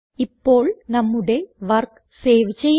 ഇപ്പോൾ നമ്മുടെ work save ചെയ്യാം